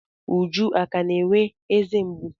Uju akà na-enwe eze mgbu?